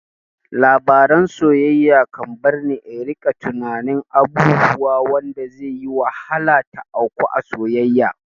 Labaran soyayya kan barni in rika tunanin abubuwa wanda zai yi wahala ta auku a soyayya